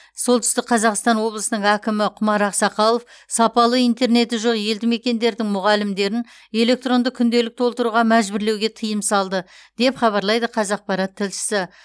солтүстік қазақстан облысының әкімі құмар ақсақалов сапалы интернеті жоқ елді мекендердің мұғалімдерін электронды күнделік толтыруға мәжбүрлеуге тыйым салды деп хабарлайды қазақпарат тілшісі